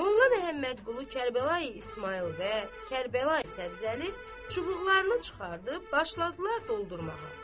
Molla Məmmədqulu, Kərbəlayi İsmayıl və Kərbəlayi Səbzəli çubuqlarını çıxarıb başladılar doldurmağa.